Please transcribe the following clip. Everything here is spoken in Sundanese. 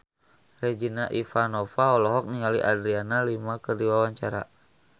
Regina Ivanova olohok ningali Adriana Lima keur diwawancara